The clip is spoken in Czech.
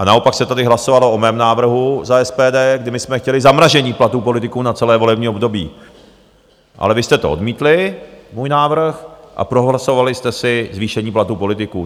A naopak se tady hlasovalo o mém návrhu za SPD, kdy my jsme chtěli zamrazení platů politiků na celé volební období, ale vy jste to odmítli, můj návrh, a prohlasovali jste si zvýšení platů politiků.